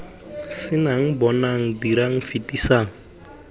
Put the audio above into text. c nnang bonang dirang fetisang